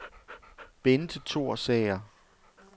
Benthe Thorsager